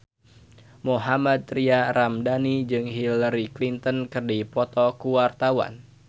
Mohammad Tria Ramadhani jeung Hillary Clinton keur dipoto ku wartawan